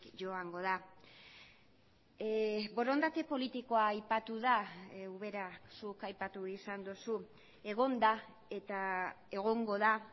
joango da borondate politikoa aipatu da ubera zuk aipatu izan duzu egon da eta egongo da